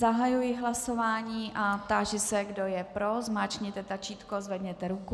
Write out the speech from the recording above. Zahajuji hlasování a táži se, kdo je pro, zmáčkněte tlačítko, zvedněte ruku.